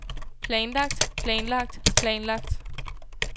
planlagt planlagt planlagt